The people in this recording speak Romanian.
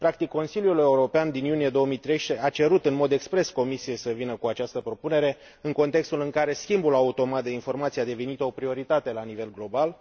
Practic, Consiliul European din iunie 2013 a cerut în mod expres Comisiei să vină cu această propunere, în contextul în care schimbul automat de informații a devenit o prioritate la nivel global.